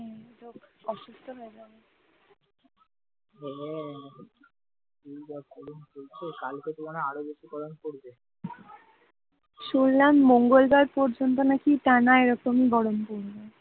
শুনলাম মঙ্গলবার পর্যন্ত নাকি টানা এরকমই গরম পড়বে